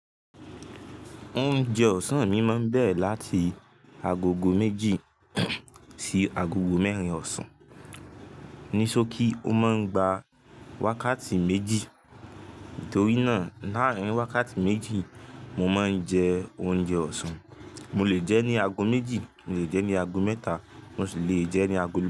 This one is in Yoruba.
Oúnjẹ ọ̀sán mi máa ń bẹ̀re láti agogo méjì sí agogo mẹ́rin ọ̀sán, níṣokí ó máa ń gba wákàtí méjì. Nítorí náà láàárín wákàtí méjì mo máa ń jẹ oúnjẹ ọ̀sán. Mọ lè jẹ ní àgọ méjì, mọ lè jẹ ní àgọ mẹ́ta, mọ ṣì lè jẹ ní àgọ.